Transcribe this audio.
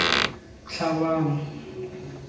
tlhabano